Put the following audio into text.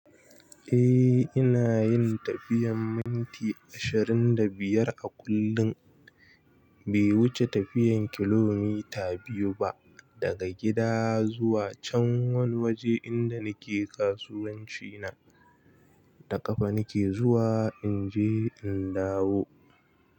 Eh, ina yin tafiyan minti ashirin da biyar a kullum. Bai wuce tafiyan kilomita biyu ba daga gida zuwa can wani waje inda nake kasuwanci na. Da ƙafa nake zuwa in je in dawo.